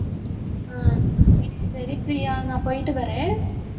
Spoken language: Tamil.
ஆஹ் சரி பிரியா நான் போயிட்டு வர்றேன்